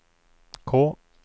K